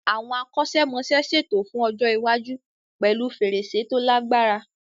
Àwọn akọ́ṣẹ́mọṣẹ́ ṣètò fún ọjọ́ iwájú pẹ̀lú fèrèsé tó lagbára.